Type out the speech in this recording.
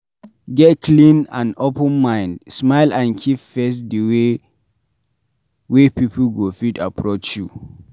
Get clean and open mind, smile and keep face di way wey pipo go fit approach you